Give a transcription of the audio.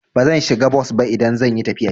Bazan shiga bos ba idan zan yi tafiya.